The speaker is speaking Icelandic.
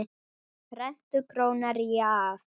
Rentu króna rýra gaf.